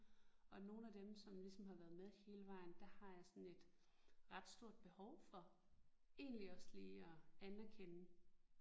Og nogle af dem som ligesom har været med hele vejen der har jeg sådan et ret stort behov for egentlig også lige at anerkende